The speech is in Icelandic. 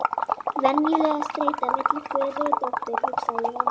Venjuleg streita milli föður og dóttur, hugsaði ég með mér.